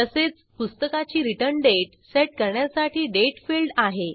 तसेच पुस्तकाची return date set करण्यासाठी दाते फील्ड आहे